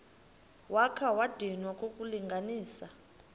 wakha wadinwa kukulungisa